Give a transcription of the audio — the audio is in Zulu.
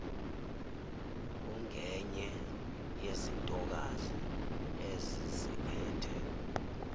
ungenye yezintokazi eziziphethe